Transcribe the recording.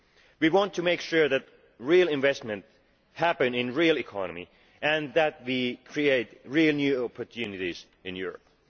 We want to make sure that real investment happens in the real economy and that we create real new opportunities in Europe.